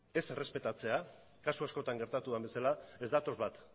ez errespetatzea kasu askotan gertatu den bezala ez datoz bat